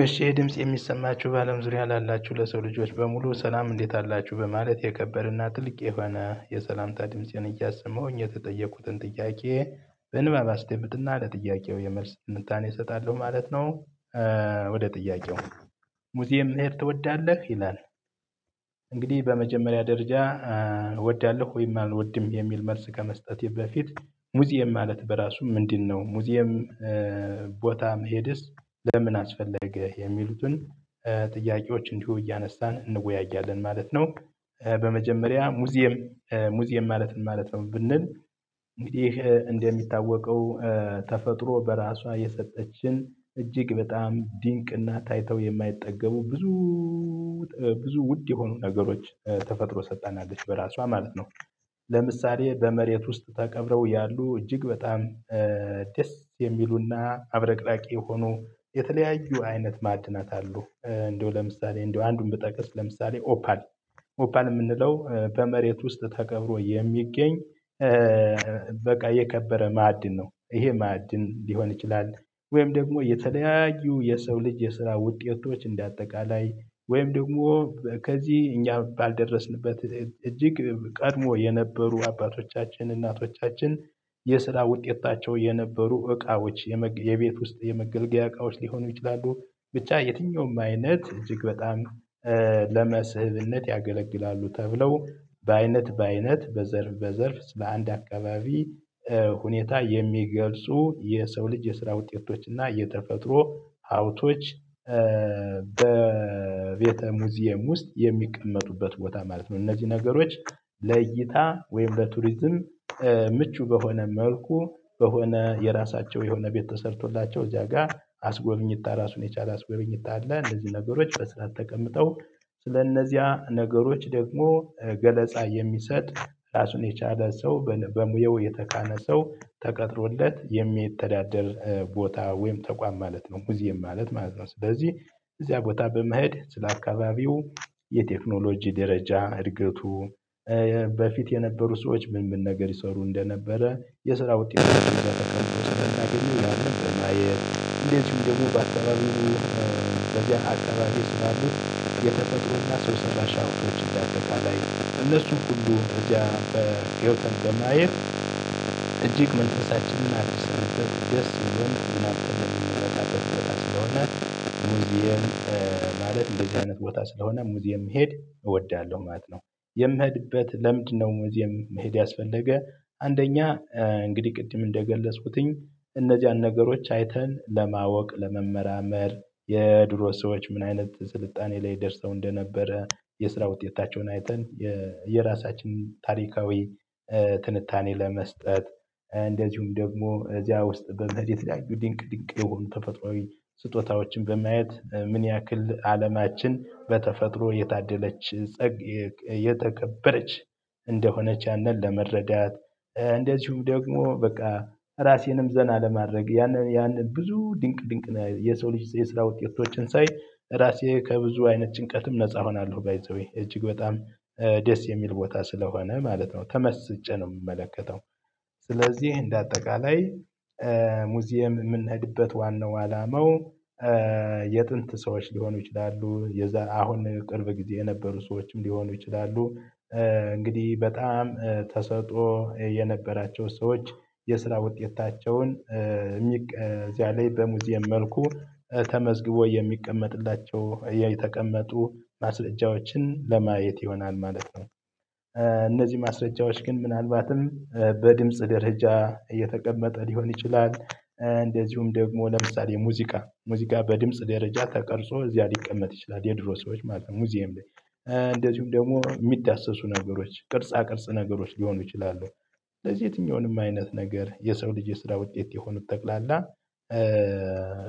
እሺ ይሄ ድምጽ የሚሰማችሁ በአለም ዙሪያ ላላችሁ ለሰው ልጆች በሙሉ ሰላም እንዴት አላችሁ በማለት የከበረና ትልቅ የሆነ የሰላምታ ድምፄን እያሰመሁኝ፤ የተጠየቁትን ጥያቄ በንባብ አስደምጥና ለጥያቄው የመልስ ትንታኔ እሰጣለሁ ማለት ነው። ወደ ጥያቄው፤ "ሙዚየም መሄድ ትወዳለህ?" ይላል። እንግዲህ በመጀመሪያ ደረጃ እወዳለሁ ወይም አልወድም የሚል መልስ ከመስጠቴ በፊት፤ "ሙዚየም ማለት በራሱ ምንድነው?" "ሙዚየም ቦታ መሄድስ ለምን አስፈለገ?" የሚሉትን ጥያቄዎች እንዲሁ እያነሳን እንወያያለን ማለት ነው። በመጀመሪያ "ሙዚየም ሙዚየም ማለት ምን ማለት ነው?" ብንል፤ እንግዲህ እንደሚታወቀው ተፈጥሮ በራሷ የሰጠችን እጅግ በጣም ድንቅና ታይተው የማይጠገቡ ብዙ ውድ የሆኑ ነገሮች ተፈጥሮ ሰታናለች በራሷ ማለት ነው። ለምሳሌ በመሬት ውስጥ ተቀብረው ያሉ እጅግ በጣም ደስ የሚሉና አብረቅራቂ የሆኑ የተለያዩ አይነት ማዕድናት አሉ። እንደው ለምሳሌ እንደው አንዱን ብጠቅስ ለምሳሌ ኦፓል ኦፓል የምንለው በመሬት ውስጥ ተቀብሮ የሚገኝ በቃ የከበረ ማዕድን ነው ይሄ ማዕድን ሊሆን ይችላል ወይም ደግሞ የተለያዩ የሰው ልጅ የስራ ውጤቶች እንደ አጠቃላይ ወይም ደግሞ ከዚህ እኛ ባልደረስንበት እጅግ ቀድሞ የነበሩ አባቶቻችን እናቶቻችን የስራ ውጤታቸው የነበሩ እቃዎች የመግ የቤት ውስጥ የመገልገያ እቃዎች ሊሆኑ ይችላሉ። ብቻ የትኛውም አይነት እጅግ በጣም ለመስህብነት ያገለግላሉ ተብለው በአይነት በአይነት በዘርፍ በዘርፍ ስለአንድ አካባቢ ሁኔታ የሚገልጹ የሰው ልጅ የስራ ውጤቶች እና የተፈጥሮ ሀብቶች በቤተ ሙዚየም ውስጥ የሚቀመጡበት ቦታ ማለት ነው። እነዚህ ነገሮች ለእይታ ወይም ለቱሪዝም ምቹ በሆነ መልኩ በሆነ የራሳቸው የሆነ ቤት ተሰርቶላቸው እዚያ ጋር አስጎብኝታ ራሱን የቻለ አስጎበኝታ አለ እነዚህን ነገሮች በስራት ተቀምጠው ስለእነዚያ ነገሮች ደግሞ ገለጻ የሚሰጥ ራሱን የቻለ ሰው በነ በሙያው የተካነ ሰው ተቀጥሮለት የሚተዳደር ቦታ ወይም ተቋም ማለት ነው ሙዚየም ማለት ማለት ነው። ስለዚህ እዚያ ቦታ በመሄድ ስለ አካባቢው የቴክኖሎጂ ደረጃ እድገቱ፣ በፊት የነበሩ ሰዎች ምን ምን ነገር ይሰሩ እንደነበረ፣ የስራ ውጤት ተከትሎ ስለተገኙ ያንን በማየት እንዴት ደግሞ በአከባበሩ በዚህ አካባቢ ስላሉ የተፈጥሮና ሰው ሰራሽ ሀብቶች እንዳጠቃላይ እነሱን ሁሉ እዚያ ገብተን በማየት እጅግ መንፈሳችንን አድሰንበት ደስ ብሎን ተዝናንተን የምንረካበት ቦታ ስለሆነ ሙዚየም ማለት እንደዚህ አይነት ቦታ ስለሆነ ሙዚየም መሄድ እወዳለሁ ማለት ነው። የምሄድበት ለምንድነው ሙዚየም መሄድ ያስፈለገ አንደኛ እንግዲህ ቅድም እንደገለጽኩትኝ እነዚያን ነገሮች አይተን ለማወቅ ለመመራመር፣ የድሮ ሰዎች ምን አይነት ስልጣኔ ላይ ደርሰው እንደነበረ፣ የስራ ውጤታቸውን አይተን የራሳችን ታሪካዊ ትንታኔ ለመስጠት፤ እንደዚሁም ደግሞ እዚያ ውስጥ በመሄድ የተለያዩ ድንቅ ድንቅ የሆኑ ተፈጥሮአዊ ስጦታዎችን በማየት ምን ያክል አለማችን በተፈጥሮ የታደለች ጸግ የተከበረች እንደሆነች ያንን ለመረዳት፤ እንደዚሁ ደግሞ በቃ ራሴንም ዘና ለማድረግ ያንን ያንን ብዙ ድንቅ ድንቅ የሰው ልጅ የስራ ውጤቶችን ሳይ ራሴ ከብዙ አይነት ጭንቀትም ነፃ እሆናለሁ። ባይ ዘ ዌይ እጅግ በጣም ደስ የሚል ቦታ ስለሆነ ማለት ነው። ተመስጬ ነው የምመለከተው። ስለዚህ እንደ አጠቃላይ ሙዚየም የምንሄድበት ዋናው አላማው የጥንት ሰዎች ሊሆኑ ይችላሉ የዛ አሁን ቅርብ ጊዜ የነበሩ ሰዎችም ሊሆኑ ይችላሉ እንግዲህ በጣም ተሰጥኦ የነበራቸው ሰዎች የስራ ውጤታቸውን እዚያ ላይ በሙዚየም መልኩ ተመዝግቦ የሚቀመጥላቸው የተቀመጡ ማስረጃዎችን ለማየት ይሆናል ማለት ነው። እነዚህ ማስረጃዎች ግን ምናልባትም በድምጽ ደረጃ የተቀመጠ ሊሆን ይችላል። እንደዚሁም ደግሞ ለምሳሌ ሙዚቃ ሙዚቃ በድምጽ ደረጃ ተቀርጾ እዚያ ሊቀመጥ ይችላል የድሮ ሰዎች ማለት ነው ሙዚየም ላይ እንደዚሁም ደግሞ የሚዳሰሱ ነገሮች ቅርጻ ቅርጽ ነገሮች ሊሆኑ ይችላሉ። ስለዚህ የትኛውንም አይነት ነገር የሰው ልጅ ስራ ውጤት የሆኑት ጠቅላላ